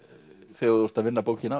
þegar þú ert að vinna bókina